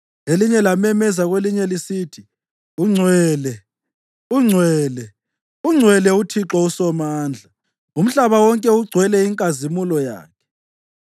Elinye lamemezela kwelinye lisithi: “Ungcwele, ungcwele, ungcwele uThixo uSomandla, umhlaba wonke ugcwele inkazimulo yakhe.”